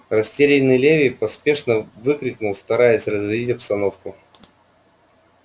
растерянный леви поспешно выкрикнул стараясь разрядить обстановку